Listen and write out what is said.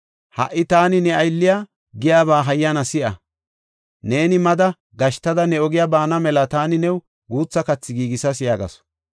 Ha77i taani ne aylliya giyaba hayyana si7a; neeni mada gashtada ne ogiya baana mela taani new guutha kathi giigisas” yaagasu.